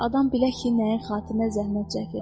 Adam bilə ki, nəyin xatirinə zəhmət çəkir.